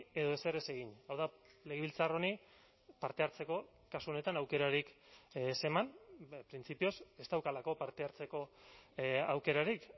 edo ezer ez egin hau da legebiltzar honi parte hartzeko kasu honetan aukerarik ez eman printzipioz ez daukalako parte hartzeko aukerarik